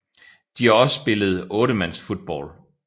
De har også spillet 8 mands football